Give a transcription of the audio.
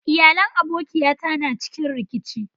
Iyalai abokiya ta na a cikin rikici.